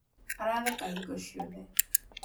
aratheka hingo ciothe